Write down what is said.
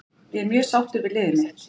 Ég er mjög sáttur við liðið mitt.